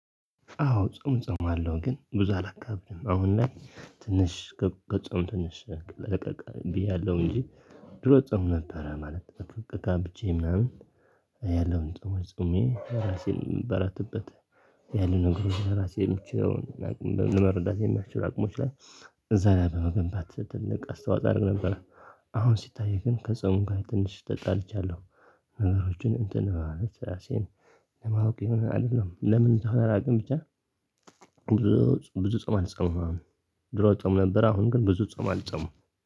አዎ ጾም እጾማለሁ ግን ብዙ አላካብድም አሁን ላይ ትንሽ ከጾም ትንሽ ለቀቅ ብያለሁ ያለው እንጂ ድሮ እጾም ነበረ ማለት በፍ ካብቼ ምናምን ያለውን ጾሞች ጹሜ ለራሴ ለመበረታበት ያለው ነገሮች ለራሴ የምችለውን ለመረዳት የሚያስችል አቅሞች ላይ እዛ ላይ በመገንባት ትልቅ አስተዋፆ አረግ ነበር። አሁን ሲታየኝ ግን ከጾም ጋር ትንሽ ተጣልቻለሁ። ነገሮችን እንትን ለማወቅ የሆነ አይደለም ለምን እንደሆ አላውቅም ብቻ። ብዙ ጾም አልጾምም። ድሮ እጾም ነበር አሁን ግን ብዙ ጾም አልጾምም።